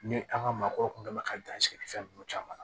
Ni an ka maakɔrɔw tun bɛ ka dan sɛnɛfɛn ninnu caman na